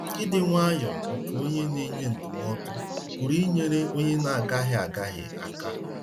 Ịdị nwayọọ nke onye n'enye ndụmọdụ pụrụ inyere onye n'agahie agahie aka.